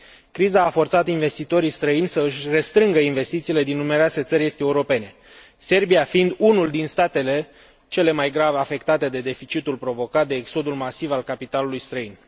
Criza a forțat investitorii străini să își restrângă investițiile din numeroase țări est europene, Serbia fiind unul dintre statele cel mai grav afectate de deficitul provocat de exodul masiv al capitalului străin.